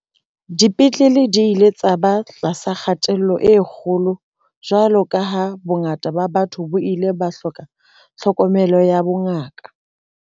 Dipetlele di ile tsa ba tlasa kgatello e kgolo jwalo ka ha bongata ba batho bo ile ba hloka tlhokomelo ya bongaka.